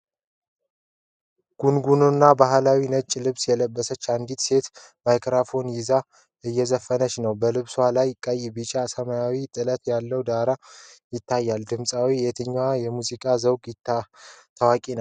ጉንጉንና ባህላዊ ነጭ ልብስ የለበሰች አንዲት ሴት ማይክሮፎን ይዛ እየዘፈነች ነው። በልብሷ ላይ ቀይ፣ ቢጫና ሰማያዊ ጥለት ያለው ዳር ይታያል። ድምፃዊትዋ የየትኛው የሙዚቃ ዘውግ ታዋቂ ናት?